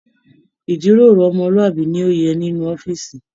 Ijíròrò ọmọluabi ni o yẹ nínú ọ̀fiísí.